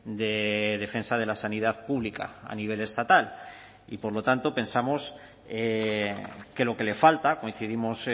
de defensa de la sanidad pública a nivel estatal y por lo tanto pensamos que lo que le falta coincidimos